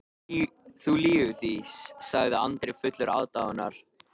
Þú lýgur því, sagði Andri fullur aðdáunar.